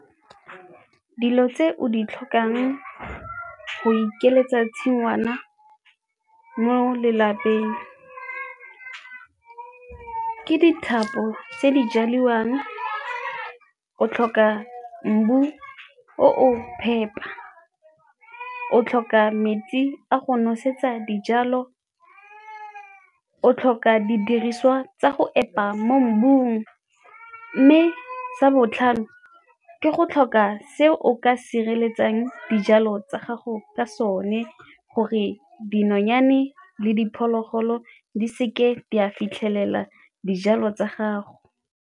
Dilo tse o di tlhokang go ikeletsa tshingwana mo lelapeng ke dithapo tse di jaliwang, o tlhoka mmu o o phepa, o tlhoka metsi a go nosetsa dijalo, o tlhoka didiriswa tsa go epa mo mmung mme sa botlhano ke go tlhoka se o ka sireletsang dijalo tsa gago ka sone gore dinonyane le diphologolo di seke di a fitlhelela dijalo tsa gago.